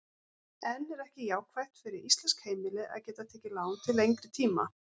En er ekki jákvætt fyrir íslensk heimili að geta tekið lán til lengri tíma?